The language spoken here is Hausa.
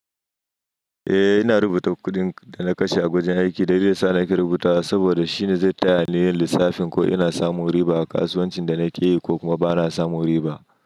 Eh, ina rubuta kuɗin da na kashe a wajen aiki dalilin da yasa nake rubuta saboda shine zai taya ni yin lissafin ko ina samu riba a kasuwancin da nake yi ko kuma bana samu riba.